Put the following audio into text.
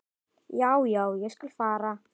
Já, já, ég skal fara.